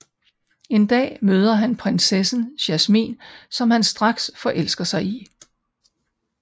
En dag møder han prinsessen Jasmin som han straks forelsker sig i